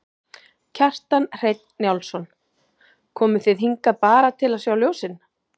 Kjartan Hreinn Njálsson: Komuð þið hingað bara til að sjá ljósin?